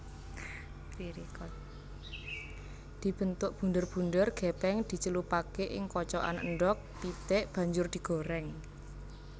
Dibentuk bunder bunder gepeng dicelupake ing kocokan endhog pitik banjur digoreng